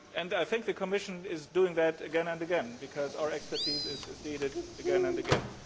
I think the Commission is doing that again and again, because our expertise is needed again and again.